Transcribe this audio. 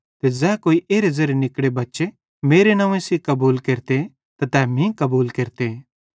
ते ज़ै कोई एरे ज़ेरे निकड़े बच्चे मेरे नंव्वे सेइं कबूल केरते त तै मीं कबूल केरते